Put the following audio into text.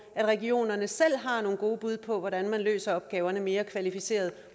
at regionerne selv har nogle gode bud på hvordan man løser opgaverne mere kvalificeret